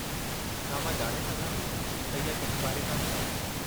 छा मां ॼाणे सघां थी त इहा कंहिं बारे में आहे?